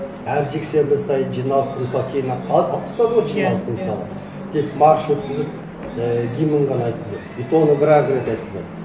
әр жексенбі сайын жиналысты мысалы кейін алып тастады ғой жиналысты мысалы тек марш өткізіп ііі гимн ғана айтқызады и то оны бір ақ рет айтқызады